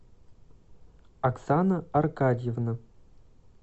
оксана аркадьевна